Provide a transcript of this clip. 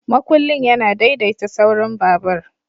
Makullin yana daidaita saurin babur.